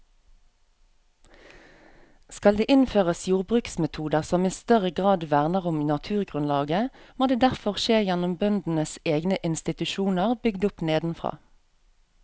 Skal det innføres jordbruksmetoder som i større grad verner om naturgrunnlaget, må det derfor skje gjennom bøndenes egne institusjoner bygd opp nedenfra.